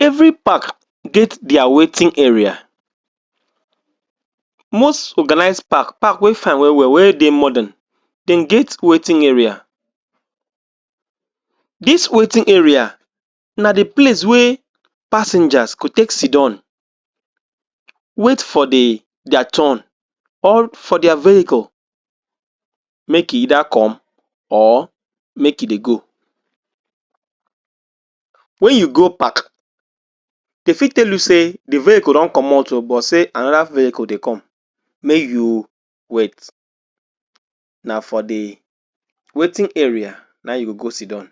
Every park get dia waiting area, most organized park park wey fine well well, park wey dey modern dem get waiting area. Dis waiting area na de place wey passengers go take sidon wait for dia turn or for dia vehicle make e either come or make e dey go. when you go pack, dey fit tell you sey de vehicle don comot oo but sey another vehicle dey come may you wait na for de waiting area na im you go go sidon.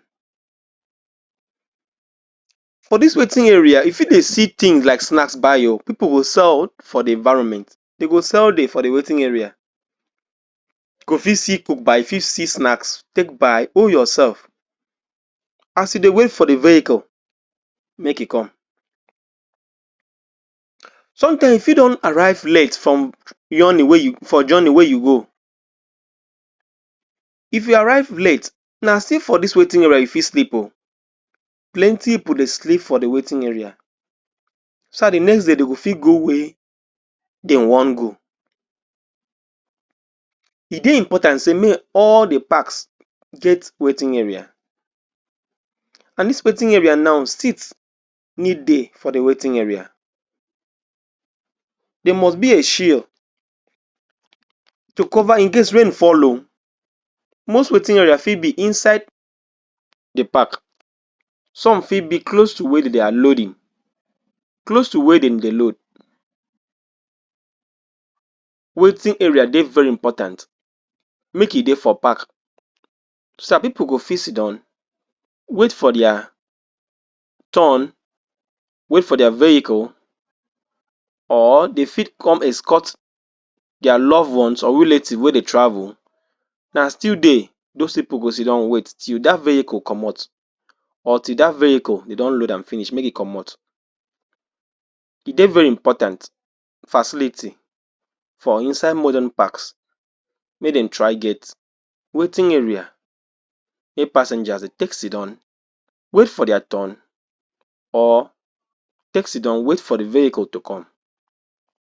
For dis waiting area, you fit dey see things like snacks buy oo, pipul will sell for the environment, dey go sell for de waiting area, you go fit see food buy, fit see snacks take buy hold yourself as you dey wait fo the vehicle make e come. Sometimes you fi don arrive late from journey wey you go, if you arrive late na still for dis waiting area you fit sleep oo, plenty pipul dey sleep for de waiting area so dat de next day dey fit go where dem wan go. E dey important sey may all the parks get waiting area and dis waiting area now sits need dey for the waiting area. Dia must be a shield to cover in case rain fall oo. Most waiting area fit be inside de park, some fit be close to where dey are loading, close to where dem dey load Waiting area dey very important make e dey for park so that pipul go fit sidon, wait for dia turn, wait for dia vehicle or dey fit come escort dia loved ones or relative wey dey travel na still there those pipul go sidon wait till dat vehicle comot. or till that vehicle dey don load am finish make e comot, e dey very imoprtant facility for inside modern parks mey dem try get waiting area wey passengers dey take sidon, wait for dia turn or take sidon wait for the vehicle to come.